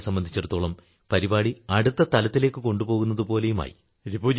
ഞങ്ങളെ സംബന്ധിച്ചിടത്തോളം പരിപാടി അടുത്ത തലത്തിലേക്കു കൊണ്ടുപോകുന്നതുപോലെയുമായി